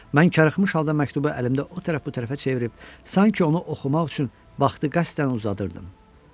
Mən karıxmış halda məktubu əlimdə o tərəf bu tərəfə çevirib, sanki onu oxumaq üçün vaxtı qəsdən uzadırdım.